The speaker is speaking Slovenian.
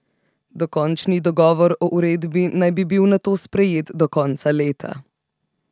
Dokončni dogovor o uredbi naj bi bil nato sprejet do konca leta.